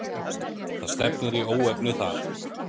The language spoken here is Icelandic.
Það stefnir í óefni þar.